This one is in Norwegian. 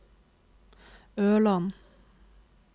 Ørland